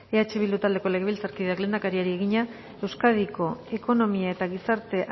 eh bildu taldeko legebiltzarkideak lehendakariari egina euskadiko ekonomia eta gizarte